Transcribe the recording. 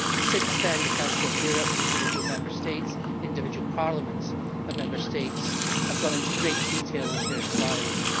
Since then the Council of Europe and individual Member States, individual parliaments of Member States, have gone into great detail with their inquiries.